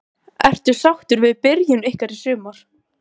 Ertu sáttur við byrjun ykkar í sumar?